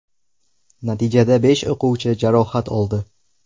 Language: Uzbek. Natijada besh o‘quvchi jarohat oldi.